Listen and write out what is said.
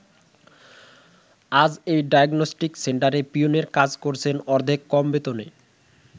আজ এই ডায়াগনস্টিক সেন্টারে পিওনের কাজ করছেন অর্ধেক কম বেতনে।